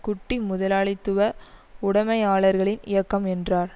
குட்டி முதலாளித்துவ உடைமையாளர்களின் இயக்கம் என்றார்